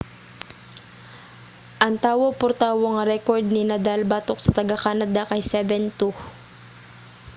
ang tawo-por-tawo nga rekord ni nadal batok sa taga-canada kay 7-2